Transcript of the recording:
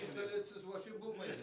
пистолетсіз вообще болмайды